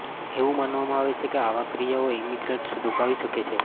એવું માનવામાં આવે છે કે આવા ક્રિયાઓ ઇમિગ્રન્ટ્સ દુભાવી શકે છે